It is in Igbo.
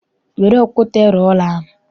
Were okwute rụọ ụlọ ahụ!